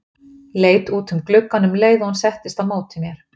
Leit út um gluggann um leið og hún settist á móti mér.